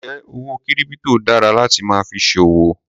Njẹ owó kírípítò dára láti máa fi ṣe òwò?